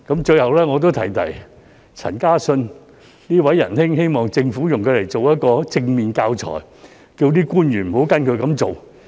最後，我要提提陳嘉信這位仁兄，希望政府用他來做一個正面的教材，請官員不要跟隨他的做法。